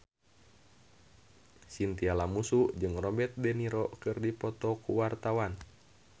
Chintya Lamusu jeung Robert de Niro keur dipoto ku wartawan